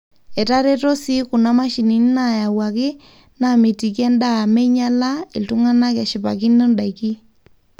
etareto sii kuna mashinini nayauaki namitiki endaa meinyala iltungana eshipakino ndaiki